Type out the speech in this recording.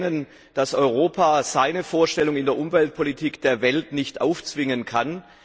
Wir erkennen, dass Europa seine Vorstellungen in der Umweltpolitik der Welt nicht aufzwingen kann.